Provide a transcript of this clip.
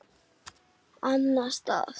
Annan stað?